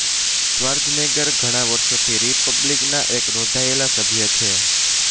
Schwarzenegger ઘણા વર્ષોથી રિપબ્લિકનના એક નોંધાયેલા સભ્ય છે